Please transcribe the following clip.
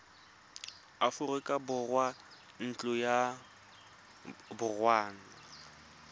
aforika borwa ntlo ya borongwa